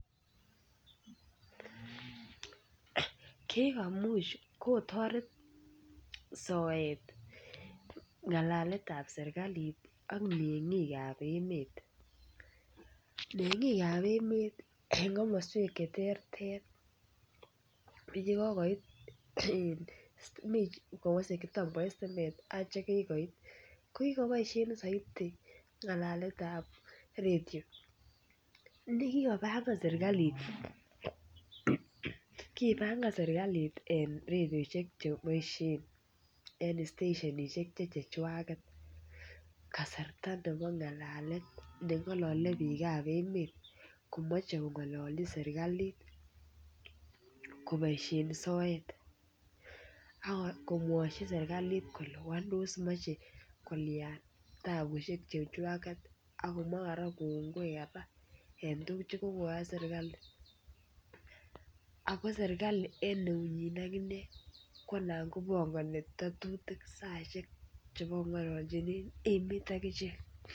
kaek amuch kikotaret soet ngalalet ap serikalit ak mengit ap emet. mengik ap emet eng komaswek che terter olekokoit mi oletomakoit stimet ak chekikoit kopaishe missing ngalalet ap redio. nekikopangan seriklit eng redioshek chepaishe che stashenishek che chechwaget kasarta nengalali piik ap emet komache kongalalchi serigalit kopaishen soet akomwachi seriklit kole mechekolian tabushek, akomwa kongoi eng tugun chokoyachi serikali. akoserikalit eng keunyi inegei anan kopangani tetutik akopa sait nengalalchin emet.